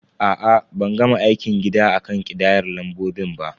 A'a, ban gama aikin gida akan ƙidayar lambobin ba.